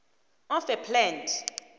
of a plant